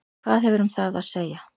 Hvað hefurðu um það að segja?